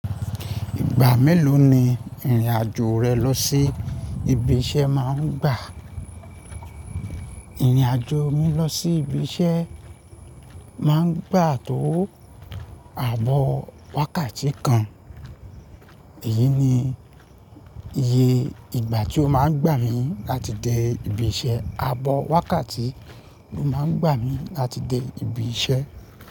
Ìgbà mélòó ni ìrìn-àjò rẹ lọ sí ibi iṣẹ́ máa ń gbà? Ìrìn-àjò mi lọ sí ibi iṣẹ́ má ń gbà tó à ààbọ̀ wákàtí kan. Èyí ni iye ìgbà tí ó máa ń gbà mí láti dé ibi iṣẹ́. Ààbọ̀ wákàtí ló máa ń gbà mí láti dé ibi iṣẹ́.